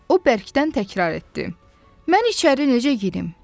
O bərkdən təkrar etdi: "Mən içəri necə girim?"